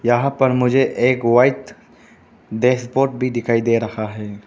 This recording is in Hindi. यहां पर मुझे एक वाइट डैशबोर्ड भी दिखाई दे रहा है।